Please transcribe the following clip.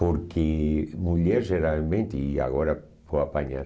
Porque mulher geralmente, e agora vou apanhar...